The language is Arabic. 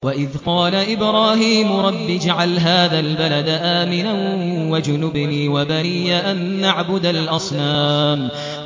وَإِذْ قَالَ إِبْرَاهِيمُ رَبِّ اجْعَلْ هَٰذَا الْبَلَدَ آمِنًا وَاجْنُبْنِي وَبَنِيَّ أَن نَّعْبُدَ الْأَصْنَامَ